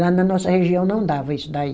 Lá na nossa região não dava isso daí.